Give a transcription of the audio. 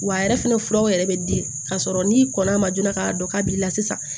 Wa a yɛrɛ fɛnɛ furaw yɛrɛ bɛ di ka sɔrɔ n'i kɔnn'a ma joona k'a dɔn k'a b'i la sisan